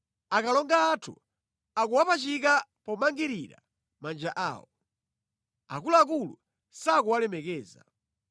Akalonga athu akuwapachika pomangirira manja awo, akuluakulu sakuwalemekeza.